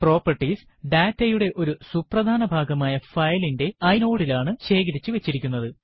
properties ഡാറ്റയുടെ ഒരു സുപ്രധാന ഭാഗമായ ഫയലിന്റെ inode ലാണ് ശേഖരിച്ചു വച്ചിരിക്കുന്നത്